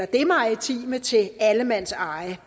det maritime til allemandseje det